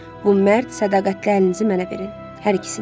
Bu mərd, sədaqətli əlinizi mənə verin, hər ikisini.